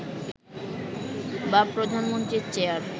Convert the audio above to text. বা প্রধানমন্ত্রীর চেয়ার